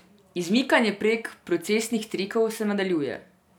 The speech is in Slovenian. Izmikanje prek procesnih trikov se nadaljuje.